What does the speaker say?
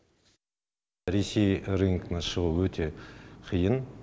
ресей рынкына шығу өте қиын